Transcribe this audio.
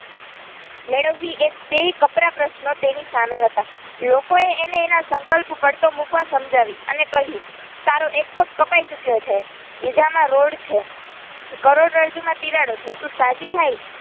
મેળવી એ બે કપરા પ્રશ્નો તેની સામે હતા લોકો એ એને એના સંકલ્પ પડતો મુકવા સમજાવી અને કહ્યું તારો એકે પગ કાપયી ચુક્યો છે બીજામાં રોડ છે કરોડરજ્જુ માં તિરાડો છે તું સાજી થાય.